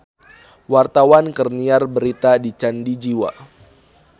Wartawan keur nyiar berita di Candi Jiwa